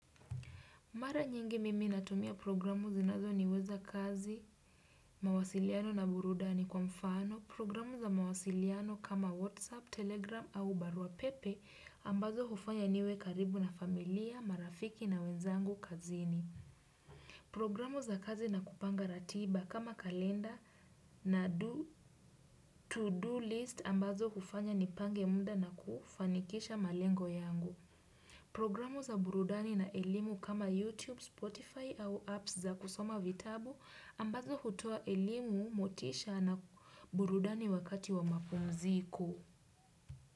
Mara nyingi mimi natumia programu zinazoniweza kazi, mawasiliano na burudani kwa mfano, programu za mawasiliano kama Whatsapp, Telegram au barua pepe ambazo hufanya niwe karibu na familia, marafiki na wenzangu kazini. Programu za kazi na kupanga ratiba kama kalenda na to-do list ambazo hufanya nipange muda na kufanikisha malengo yangu. Programu za burudani na elimu kama YouTube, Spotify au apps za kusoma vitabu ambazo hutoa elimu motisha na burudani wakati wa mapumziko.